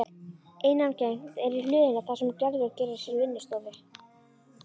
Innangengt er í hlöðuna þar sem Gerður gerir sér vinnustofu.